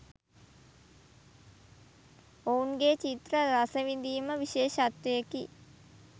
ඔවුන්ගේ චිත්‍ර රසවිඳීම විශේෂත්වයකි